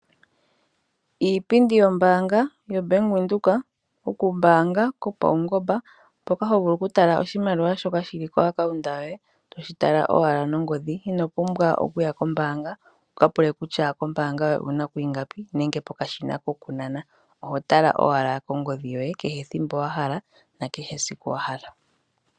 Iipindi yombaanga yoBank Windhoek okumbaanga kopaungomba mpoka hovulu okutala oshimaliwa shoka shili kompungulilo yoye toshi tala owala nongodhi. Ino pumbwa okuya kombaanga wuka pule kutya kombaanga owuna ko ingapi nenge pokashina kokunana. Oho tala owala kongodhi yoye kehe thimbo wa hala nakehe siku wa hala.